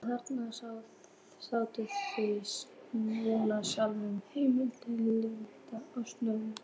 Og þarna sjáið þið nú sjálfan Heimdall liggjandi á sjónum.